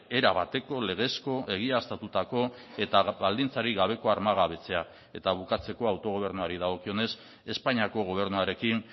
erabateko legezko egiaztatutako eta baldintzarik gabeko armagabetzea eta bukatzeko autogobernuari dagokionez espainiako gobernuarekin